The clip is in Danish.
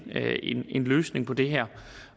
en løsning på det her